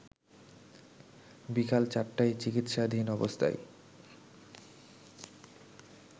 বিকাল ৪টায় চিকিৎসাধীন অবস্থায়